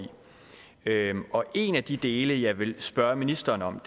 og en af de dele jeg vil spørge ministeren om